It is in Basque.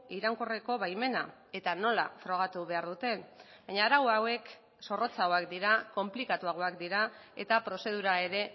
iraunkorreko baimena eta nola frogatu behar duten baina arau hauek zorrotzagoak dira konplikatuagoak dira eta prozedura ere